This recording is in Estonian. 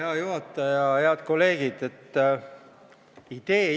Hea juhataja ja head kolleegid!